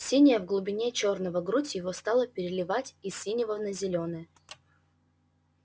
синяя в глубине чёрного грудь его стала переливать из синего на зелёное